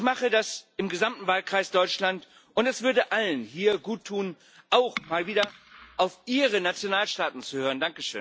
Ich mache das im gesamten Wahlkreis Deutschland, und es würde allen hier gut tun, auch mal wieder auf ihre Nationalstaaten zu hören.